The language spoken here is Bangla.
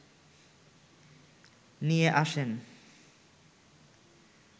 নিয়ে আসেন।